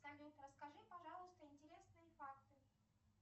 салют расскажи пожалуйста интересные факты